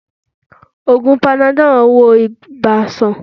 Ògùn panadol ń wo ibà sàn